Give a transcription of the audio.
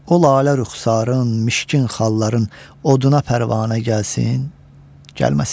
O lalə rüxsarın, mişkin xalların, oduna pərvanə gəlsin, gəlməsin.